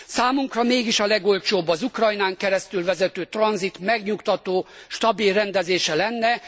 Számunkra mégis a legolcsóbb az Ukrajnán keresztül vezető tranzit megnyugtató, stabil rendezése lenne.